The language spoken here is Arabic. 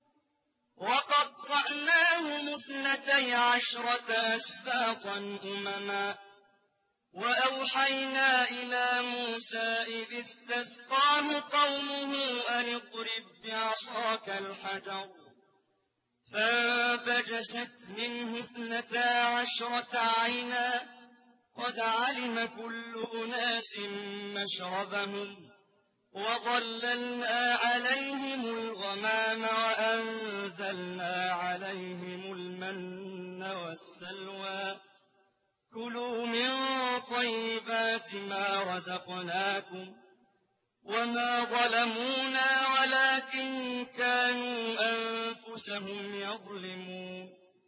وَقَطَّعْنَاهُمُ اثْنَتَيْ عَشْرَةَ أَسْبَاطًا أُمَمًا ۚ وَأَوْحَيْنَا إِلَىٰ مُوسَىٰ إِذِ اسْتَسْقَاهُ قَوْمُهُ أَنِ اضْرِب بِّعَصَاكَ الْحَجَرَ ۖ فَانبَجَسَتْ مِنْهُ اثْنَتَا عَشْرَةَ عَيْنًا ۖ قَدْ عَلِمَ كُلُّ أُنَاسٍ مَّشْرَبَهُمْ ۚ وَظَلَّلْنَا عَلَيْهِمُ الْغَمَامَ وَأَنزَلْنَا عَلَيْهِمُ الْمَنَّ وَالسَّلْوَىٰ ۖ كُلُوا مِن طَيِّبَاتِ مَا رَزَقْنَاكُمْ ۚ وَمَا ظَلَمُونَا وَلَٰكِن كَانُوا أَنفُسَهُمْ يَظْلِمُونَ